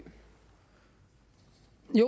i